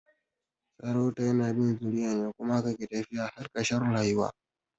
Sarauta yana bin zuriya ne kuma haka yake tafiya har karshe rayuwa